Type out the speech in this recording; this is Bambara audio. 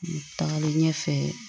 Tagalen ɲɛfɛ